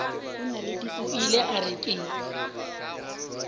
o ile a re ke